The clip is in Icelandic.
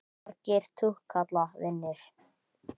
Marga túkalla vinur?